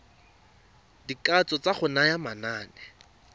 dikatso tsa go naya manane